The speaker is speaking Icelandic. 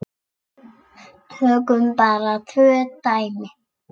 Tökum bara tvö dæmi.